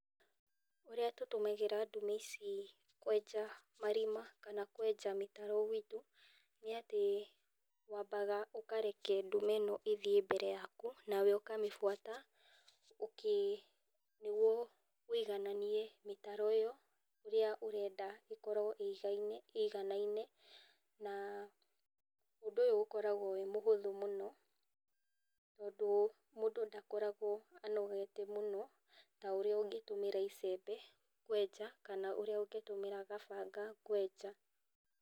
Ũrĩa tũtũmagĩra ndume ici kwenja marima kana kwenja mĩtaro, nĩ atĩ waambaga ũkareka ndume ĩno ĩthiĩ mbere yaku, nawe ũkamĩbuata ũkĩ nĩguo wĩigananie mĩtaro ĩyo ĩrĩa ũrenda ĩkorwo ĩigaine ĩganaine, na ũndũ ũyũ ũkoragwo wĩ mũhũthũ mũno tondũ mũndũ ndakoragwo akĩ anogete mũno ta ũrĩa ũngĩtũmĩra icembe kwenja, kana ũrĩa ũngĩtũmĩra gabanga kwenja.